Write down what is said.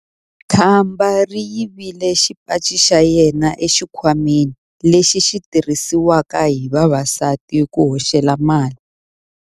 Khamba ri yivile xipaci xa yena exikhwameni lexi xi tirhisiwaka hi vavasati ku hoxela mali.